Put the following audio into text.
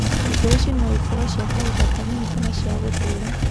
Indo ici no ikorũo cia kahinda kanini kana cia gũtũra.